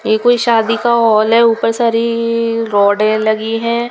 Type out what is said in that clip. ये कोई शादी का हॉल है ऊपर सारी रोडें लगी हैं।